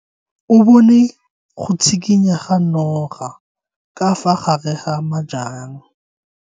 O bone go tshikinya ga noga ka fa gare ga majang.